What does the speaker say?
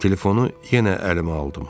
Telefonu yenə əlimə aldım.